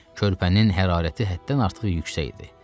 Körpənin hərarəti həddən artıq yüksək idi.